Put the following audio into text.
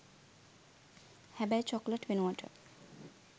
හැබැයි චොක්ලට් වෙනුවට